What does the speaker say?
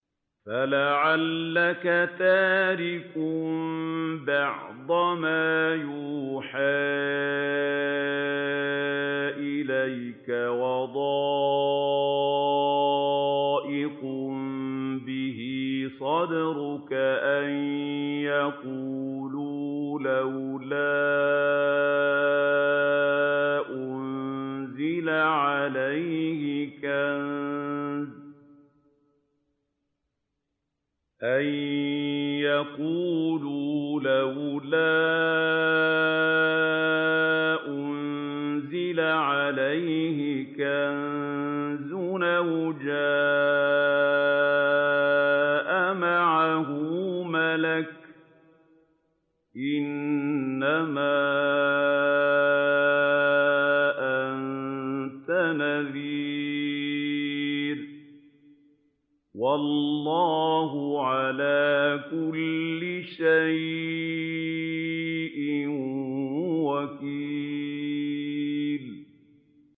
فَلَعَلَّكَ تَارِكٌ بَعْضَ مَا يُوحَىٰ إِلَيْكَ وَضَائِقٌ بِهِ صَدْرُكَ أَن يَقُولُوا لَوْلَا أُنزِلَ عَلَيْهِ كَنزٌ أَوْ جَاءَ مَعَهُ مَلَكٌ ۚ إِنَّمَا أَنتَ نَذِيرٌ ۚ وَاللَّهُ عَلَىٰ كُلِّ شَيْءٍ وَكِيلٌ